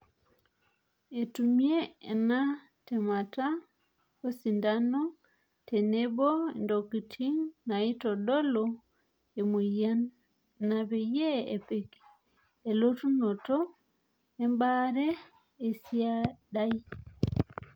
Etumia ena temata osindano tenebo ontokitin naitodolu emoyian ina peyie epik enalutonoto embaare esiadai.